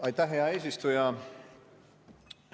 Aitäh, hea eesistuja!